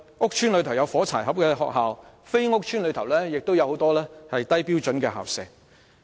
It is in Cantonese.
屋邨內有些"火柴盒"學校，而非屋邨內亦有很多低標準校舍。